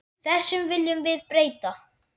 Þessu viljum við breyta.